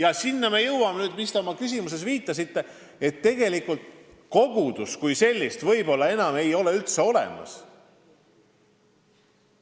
Me jõuame nüüd sinna, millele te oma küsimuses viitasite, et tegelikult kogudust kui sellist võib-olla enam ei ole üldse olemas.